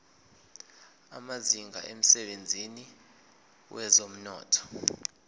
amazinga emsebenzini wezomnotho